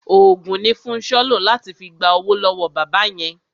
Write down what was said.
Òògùn ni Fúnṣọ́ lò láti fi gba owó lọ́wọ́ bàbá yẹn.